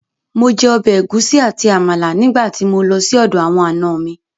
Mo jẹ ọbẹ̀ ẹ̀gúsí àti Àmàlà nígbà tí mo lọ sí ọ̀dọ̀ àwọn ànọ mi